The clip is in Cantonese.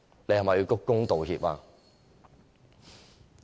是否要鞠躬道歉？